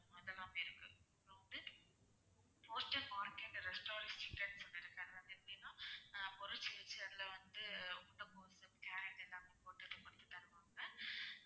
அந்த மாதிரி இருக்கு அப்பறம் வந்து restaurant chicken food இருக்கு அது வந்து எப்படின்னா ஆஹ் பொறிச்சு வச்சு அதுல வந்து முட்டைகோஸு carrot எல்லாமே போட்டு பொறிச்சு தருவாங்க